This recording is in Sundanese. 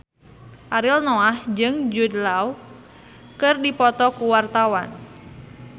Ariel Noah jeung Jude Law keur dipoto ku wartawan